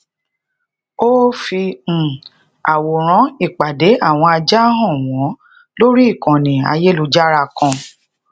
ó fi um àwòrán ìpàdé àwọn ajá han wọn lori ikànnì ayélujára kan